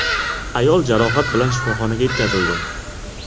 Ayol jarohat bilan shifoxonaga yetkazildi.